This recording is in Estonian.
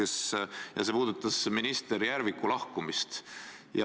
See pettumus puudutas minister Järviku lahkumist.